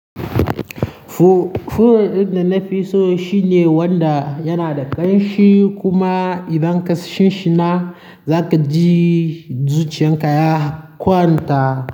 Turaren da nafi so shine wanda yana da kamshi. Kuma idan ƙashin shi na, za ka ji zuciyan ka ya kwanta.